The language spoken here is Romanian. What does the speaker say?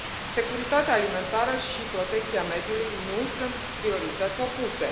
Securitatea alimentară și protecția mediului nu sunt priorități opuse.